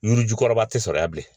Yirijugukɔrɔba tɛ sɔrɔ yan bilen